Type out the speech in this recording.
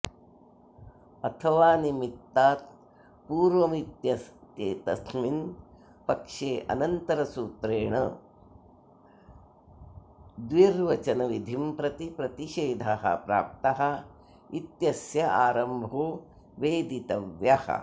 अथ वा निमित्तात् पूर्वमित्येतस्मिन् पक्षेऽनन्तरसूत्रेण द्विर्वचनविधिं प्रति प्रतिषेधः प्राप्तः इत्यस्यारम्भो वेदितव्यः